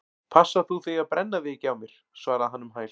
Passa þú þig að brenna þig ekki á mér- svaraði hann um hæl.